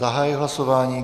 Zahajuji hlasování.